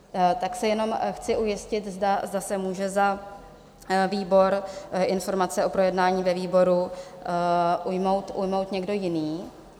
Tak se jenom chci ujistit, zda se může za výbor informace o projednání ve výboru ujmout někdo jiný?